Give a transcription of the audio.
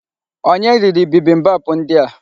Onye riri bibimbap ndi a?